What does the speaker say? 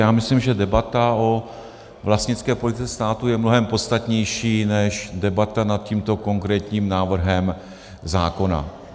Já myslím, že debata o vlastnické politice státu je mnohem podstatnější než debata nad tímto konkrétním návrhem zákona.